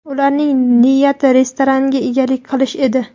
Ularning niyati restoranga egalik qilish edi.